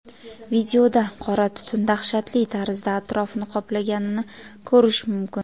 Videoda qora tutun dahshatli tarzda atrofni qoplaganini ko‘rish mumkin.